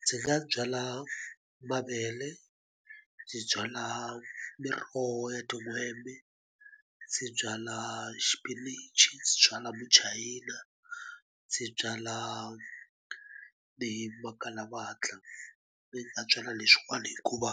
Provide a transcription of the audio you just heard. Ndzi nga byala mavele ndzi byala miroho ya tin'hwembe ndzi byala xipinichi byala muchayina ndzi byala ni makalavatla ni nga byala leswiwani hikuva